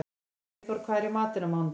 Freyþór, hvað er í matinn á mánudaginn?